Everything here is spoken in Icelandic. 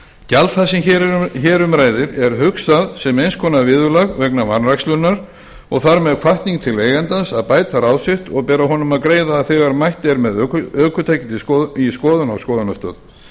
gjald það sem hér er um ræðir er hugsað sem eins konar viðurlag vegna vanrækslunnar og þar með hvatning til eigandans að bæta ráð sitt og ber honum að greiða þegar mætt er með ökutækið í skoðun á skoðunarstöð